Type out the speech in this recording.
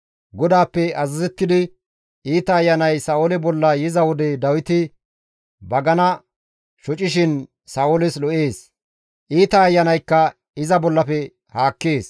GODAAPPE azazettidi iita ayanay Sa7oole bolla yiza wode Dawiti bagana shocishin Sa7ooles lo7ees; iita ayanaykka iza bollafe haakkees.